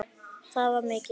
Það var mikið.